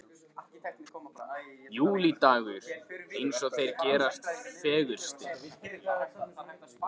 Júlídagur eins og þeir gerast fegurstir.